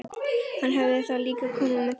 Hann hefði þá líka komið með þeim.